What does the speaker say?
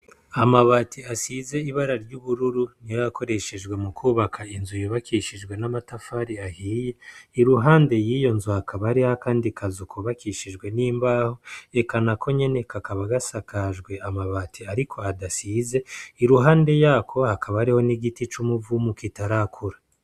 Amabati asize ibara ry'ubururu, niyo yakoreshejwe mukwubaka inzu yubakishijwe yahiye, iruhande y'iyo nzu hakaba hariho akandi kazu kubakishijwe n'imbaho, eka nako nyene kakaba gasakajwe amabati ariko adasizwe, iruhande yako hakaba gariho n'igiti c'umuvumu kitarakura.